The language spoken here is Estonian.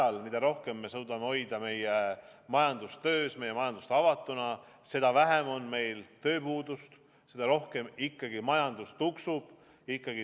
Ma arvan, et iga nädal, mis me suudame hoida meie majandust töös, meie majandust avatuna, seda vähem on meil tööpuudust, seda rohkem ikkagi majandus tuksub.